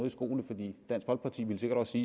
i skoene fordi dansk folkeparti vil sikkert også